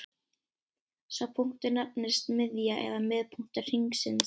Sá punktur nefnist miðja eða miðpunktur hringsins.